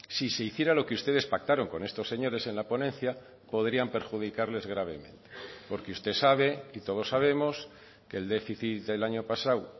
si se hiciera lo que ustedes pactaron con estos señores en la ponencia podrían perjudicarles gravemente porque usted sabe y todos sabemos que el déficit del año pasado